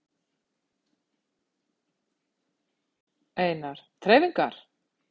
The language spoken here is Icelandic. Einar: Þreifingar?